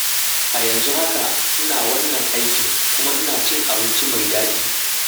A yanzu haka, ina wannan aikin kuma ina cin abinci mai daɗi.